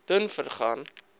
dunvegan